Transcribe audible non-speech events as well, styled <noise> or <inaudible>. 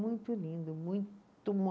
Muito lindo, muito <unintelligible>